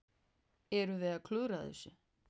Erum við að klúðra þessu?